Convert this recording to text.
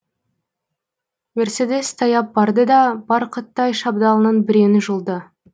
мерседес таяп барды да барқыттай шабдалының біреуін жұлды